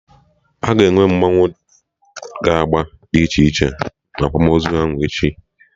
Aga enwe mmanwụ na agba dị iche iche na akwamozu ahụ echi